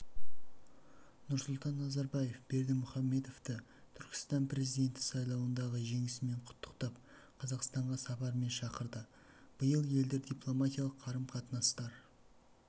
нұрсұлтан назарбаев бердымұхамедовты түрікменстан президенті сайлауындағы жеңісімен құттықтап қазақстанға сапармен шақырды биыл елдер дипломатиялық қарым-қатынастар